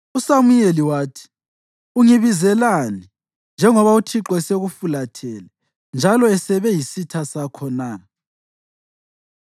USamuyeli wathi, “Ungibizelani, njengoba uThixo esekufulathele njalo esebe yisitha sakho na?